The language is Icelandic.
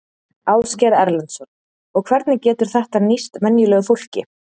Ásgeir Erlendsson: Og hvernig getur þetta nýst venjulegu fólki?